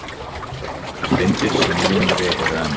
Steindir sem linari eru en